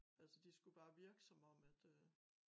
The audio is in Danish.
Altså de skulle bare virke som om at øh